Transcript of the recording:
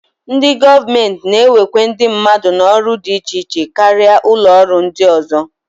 Ndị gọọmenti na-ewekwa ndị mmadụ n'ọrụ dị iche iche karịa ụlọọrụ ndị ọzọ